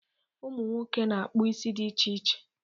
Ụmụnwoke na-akpụ isi di iche iche.